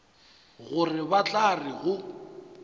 gore ba tla re go